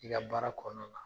I ka baara kɔnɔna na la.